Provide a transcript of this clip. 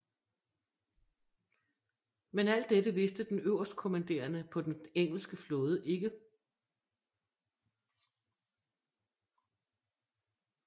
Men alt dette vidste den øverstkommanderende på den engelske flåde ikke